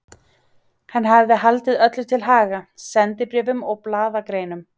Hann hafði haldið öllu til haga, sendibréfum og blaðagreinum.